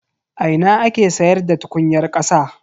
A ina ake siyarda tukunyar kasa.